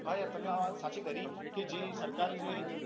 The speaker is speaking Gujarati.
હા યાર તમે આ વાત સાચી કરી કે જે સરકાર છે